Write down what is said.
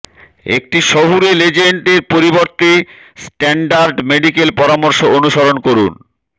একটি শহুরে লেজেন্ড এর পরিবর্তে স্ট্যান্ডার্ড মেডিকেল পরামর্শ অনুসরণ করুন